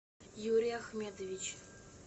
юрий ахмедович